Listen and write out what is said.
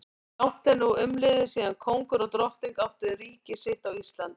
Langt er nú umliðið síðan kóngur og drottning áttu ríki sitt á Íslandi.